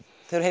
þegar